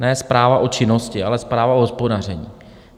Ne zpráva o činnosti, ale zpráva o hospodaření.